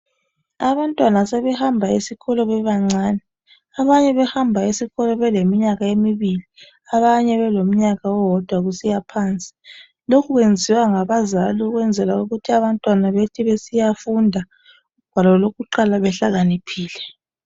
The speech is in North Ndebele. Abantwana sebehamba esikolo bebancane, abanye behamba esikolo beleminyaka emibili, abanye belomnyaka owodwa kusiya phansi. Lokho kwenziwa ngabazali ukwenzela ukuthi abantwana bethi besiyafunda ugwalo lokuqala behlakaniphile.